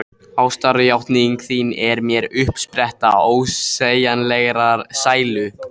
Ástarjátning þín er mér uppspretta ósegjanlegrar sælu.